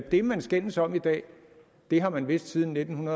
det man skændes om i dag har man vidst siden nitten